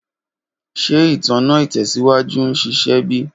Ṣe itanna itẹsiwaju n ṣiṣẹ bi?